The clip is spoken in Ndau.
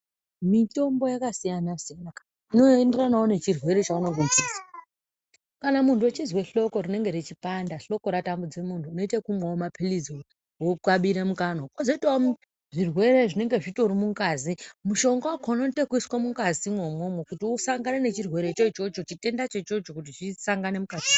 Mitombo yakasiyana-siyana inoenderanavo nechirwere chaunenge uchizwa. Kana muntu echizwe hloko rinenge richipanda hloko ratambudze muntu unoite vekumwavo maphirizi vokabira mukanwa. Kozoitavo zvirwere zvinenge zvitori mungazi mushonga vakona unoite vekuiswa mungazimwo imwomwo kuti usandane nechirwere chochocho chitendacho ichocho kuti zvisangane mukati.